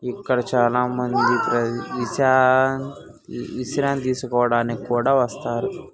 ఇక్కడ చాల మంది ఇషాన్ వి-విశ్రాంతి తీస్కోడానికి కూడ ఒస్తారు.